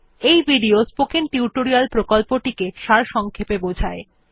এটি spoken tutorial প্রকল্পটি সারসংক্ষেপে বোঝায়